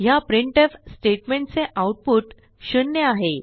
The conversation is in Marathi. ह्या प्रिंटफ statementचे आऊटपुट 0 आहे